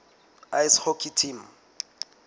ice hockey team